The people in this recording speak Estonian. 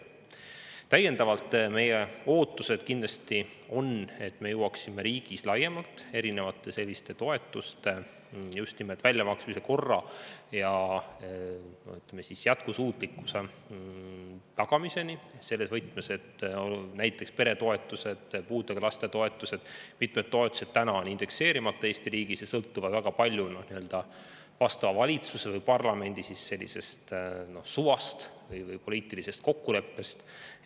Täiendavalt ütlen, et meie ootus on kindlasti see, et me jõuaksime riigis laiemalt toetuste väljamaksmise korra ja jätkusuutlikkuse tagamiseni selles võtmes, et näiteks peretoetused, puudega laste toetused ja veel mitmed toetused on Eesti riigis praegu indekseerimata ja sõltuvad väga palju valitsuse või parlamendi suvast, õigemini poliitilisest kokkuleppest.